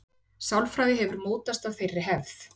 Sálfræði hefur mótast af þeirri hefð.